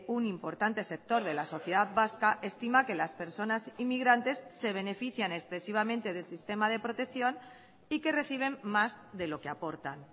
un importante sector de la sociedad vasca estima que las personas inmigrantes se benefician excesivamente del sistema de protección y que reciben más de lo que aportan